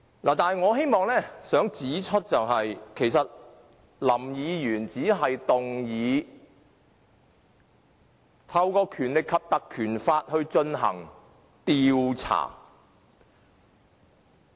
但是，我希望指出，林議員其實只是建議引用《立法會條例》進行調查。